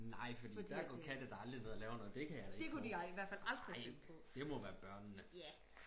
nej fordi der går katte da aldrig ned og laver noget det kan jeg da ikke tro nej det må være børnene